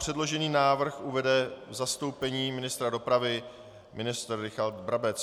Předložený návrh uvede v zastoupení ministra dopravy ministr Richard Brabec.